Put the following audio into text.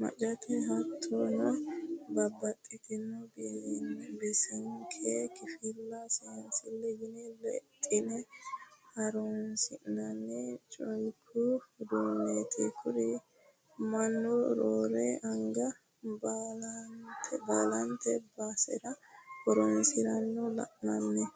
maccate hattono babbaxxitino bisinke kifillara seensileho yine lexine horonsi'nanni culku uduuneti kuri mannu roore anga baallante basera horonsiranna la'nanni.